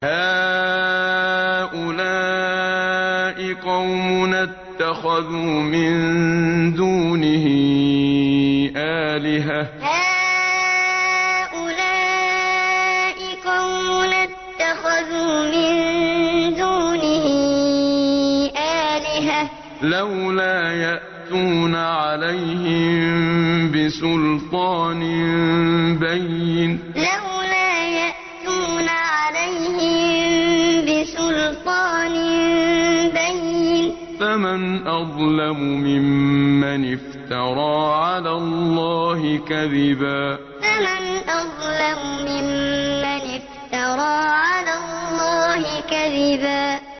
هَٰؤُلَاءِ قَوْمُنَا اتَّخَذُوا مِن دُونِهِ آلِهَةً ۖ لَّوْلَا يَأْتُونَ عَلَيْهِم بِسُلْطَانٍ بَيِّنٍ ۖ فَمَنْ أَظْلَمُ مِمَّنِ افْتَرَىٰ عَلَى اللَّهِ كَذِبًا هَٰؤُلَاءِ قَوْمُنَا اتَّخَذُوا مِن دُونِهِ آلِهَةً ۖ لَّوْلَا يَأْتُونَ عَلَيْهِم بِسُلْطَانٍ بَيِّنٍ ۖ فَمَنْ أَظْلَمُ مِمَّنِ افْتَرَىٰ عَلَى اللَّهِ كَذِبًا